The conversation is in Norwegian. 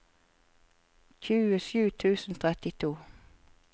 tjuesju tusen og trettito